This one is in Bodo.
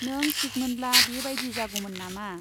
नों थिक मोनब्ला बे बाइदि जागौमोन नामा ?